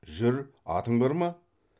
жүр атың бар ма